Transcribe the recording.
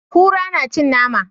Kura na cin nama.